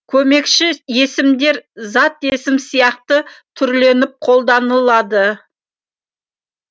көмекші есімдер зат есім сияқты түрленіп қолданылады